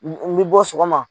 N mi bɔ sɔgɔma